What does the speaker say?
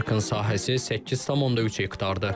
Parkın sahəsi 8,3 hektardır.